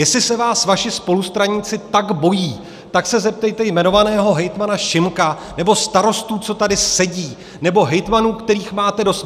Jestli se vás vaši spolustraníci tak bojí, tak se zeptejte jmenovaného hejtmana Šimka nebo starostů, co tady sedí, nebo hejtmanů, kterých máte dost.